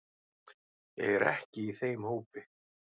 Ég er ekki í þeim hópi.